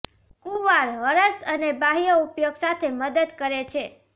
કુંવાર હરસ અને બાહ્ય ઉપયોગ સાથે મદદ કરે છે